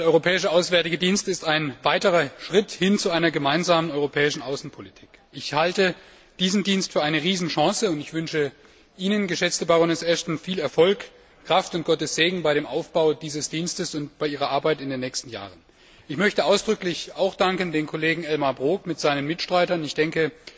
Der Europäische Auswärtige Dienst ist ein weiterer Schritt hin zu einer gemeinsamen europäischen Außenpolitik. Ich halte diesen Dienst für eine Riesenchance, und ich wünsche Ihnen, geschätzte Baroness Ashton, viel Erfolg, Kraft und Gottes Segen beim Aufbau dieses Dienstes und bei Ihrer Arbeit in den nächsten Jahren. Ich möchte ausdrücklich auch dem Kollegen Elmar Brok und seinen Mitstreitern danken.